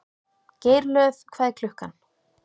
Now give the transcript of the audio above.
Geirlöð, hvað er klukkan?